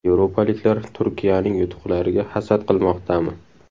Yevropaliklar Turkiyaning yutuqlariga hasad qilmoqdami?